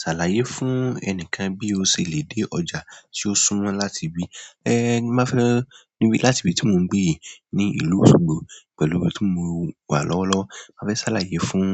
Ṣàlàyé fún ẹnìkan bí o ṣe lè dé ọjà tí ó súmọ́ láti ibi, ẹ́ má fẹ́ níbi láti ibi tí mò ń gbé yìí ní ìlú Osogbo pẹ̀lú ọkọ̀ tí mo wà lọ́wọ́lọ́wọ́, mà fẹ́ ṣàlàyé fún